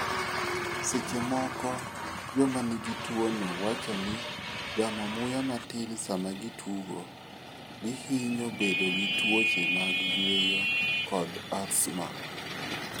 Seche moko, joma nigi tuwono wacho ni gamo muya matin sama gitugo, gihinyo bedo gi tuoche mag yueyo, kod asthma.